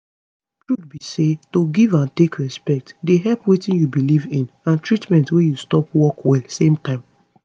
truth be say to give and take respect dey help wetin u belief in and treatment wey you stop work well same time